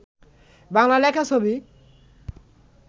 বাংলা লেখা ছবি